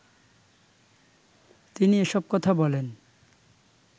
তিনি এসব কথা বলেন